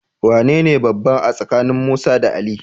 Wanene babba a tsakanin Musa da Ali?